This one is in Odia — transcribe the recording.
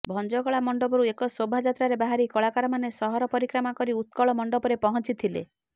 ଭଞ୍ଜକଳା ମଣ୍ଡପରୁ ଏକ ଶୋଭାଯାତ୍ରାରେ ବାହାରି କଳାକାରମାନେ ସହର ପରିକ୍ରମା କରି ଉତ୍କଳମଣ୍ଡପରେ ପହଞ୍ଚିଥିଲେ